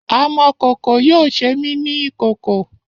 Amọ kan yoo ṣe mi ni ikoko.